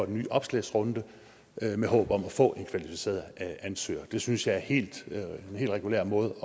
en ny oplagsrundte med håb om at få en kvalificeret ansøger det synes jeg er en helt regulær måde